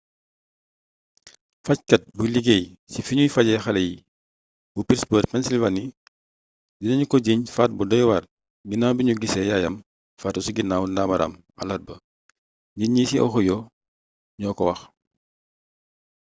fajkat buy liggéey ci fiñuy fajee xalé yi bu pittsburgh pennsylvania dina ñu ko jiiñ faat bu doywar ginnaaw biñu gissé yaayam faatu ci ginnaw daamaaram alarba njiit yi ci ohio ñoo ko wax